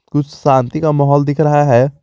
कुछ शांति का माहौल दिख रहा है।